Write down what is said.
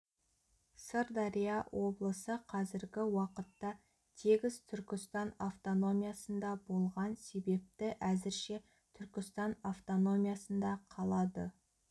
сырдария облысы қазіргі уақытта тегіс түркістан автономиясында болған себепті әзірше түркістан автономиясында қалады